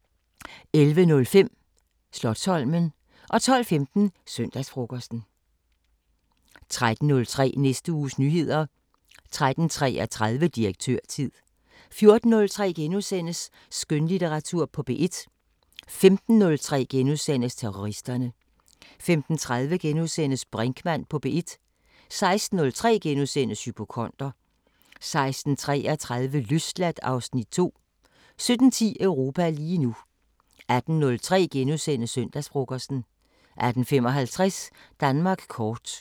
13:03: Næste uges nyheder 13:33: Direktørtid 14:03: Skønlitteratur på P1 * 15:03: Terroristerne * 15:30: Brinkmann på P1 * 16:03: Hypokonder * 16:33: Løsladt (Afs. 2) 17:10: Europa lige nu 18:03: Søndagsfrokosten * 18:55: Danmark kort